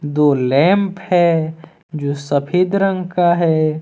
दो लैंप है जो सफेद रंग का है।